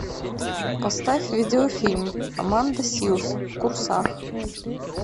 поставь видеофильм аманда силз в курсах